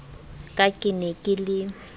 ka ke ne ke le